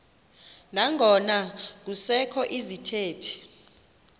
nangona kusekho izithethi